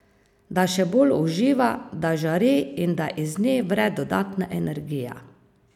Da še bolj uživa, da žari in da iz nje vre dodatna energija.